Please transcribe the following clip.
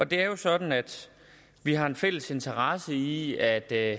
det er jo sådan at vi har en fælles interesse i at der